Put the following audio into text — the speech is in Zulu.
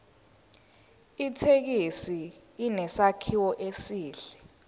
ithekisi inesakhiwo esihle